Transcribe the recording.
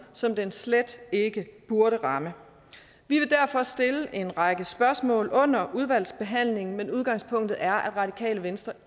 som det slet ikke burde ramme vi vil derfor stille en række spørgsmål under udvalgsbehandlingen men udgangspunktet er at radikale venstre